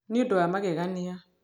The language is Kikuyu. Nĩ ũndũ wa magegania!